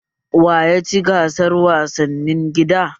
Wa ya ci gasar wasannin gida?